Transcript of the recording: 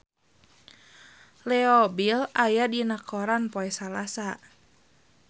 Leo Bill aya dina koran poe Salasa